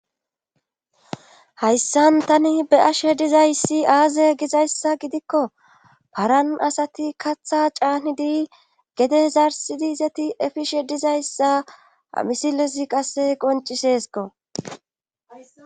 hayssan tani beyashe dizayssi aaze gizayssa gidikko paran asati kaatha caanidi gede zarsidi zeti efishe dizayssa ha misile qasse qonciseesko.